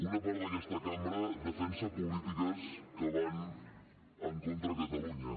una part d’aquesta cambra defensa polítiques que van en contra de catalunya